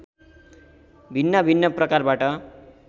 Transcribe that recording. भिन्नभिन्न प्रकारबाट